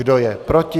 Kdo je proti?